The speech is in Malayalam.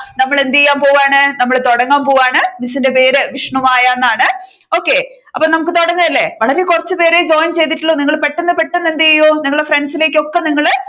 നമ്മൾ എന്ത് ചെയ്യാൻ പോവുകയാണ് നമ്മൾ തുടങ്ങാൻ പോവുകയാണ് മിസ്സിന്റെ പേര് വിഷ്ണുമായ എന്നാണ് okay നമ്മുക്ക് തുടങ്ങ അല്ലെ വളരെ കുറച്ചു പേരെ join ചെയ്തിട്ടുള്ളു നിങ്ങൾ പെട്ടെന്നു പെട്ടെന്നു എന്തെയൂ നിങ്ങളുടെ friends ലേക്ക് ഒക്കെ നിങ്ങൾ